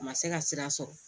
A ma se ka sira sɔrɔ